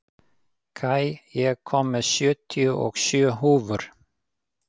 Kai, ég kom með sjötíu og sjö húfur!